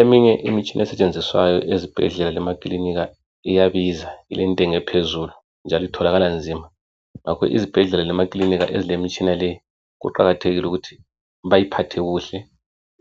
Eminye imitshina esetshenziswayo ezibhedlela lamakilinika iyabiza ilentengo ephezulu njalo itholakala nzima. Ngakho izibhedlela lamakilinika ezilemitshina leyi kuqakathekile ukuthi bayiphathe kuhle